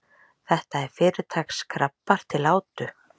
Þetta eru fyrirtaks krabbar til átu.